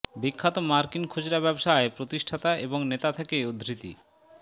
বিখ্যাত মার্কিন খুচরা ব্যবসায় প্রতিষ্ঠাতা এবং নেতা থেকে উদ্ধৃতি